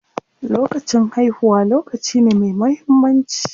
Lokacin haihuwa lokaci ne me muhimmanci.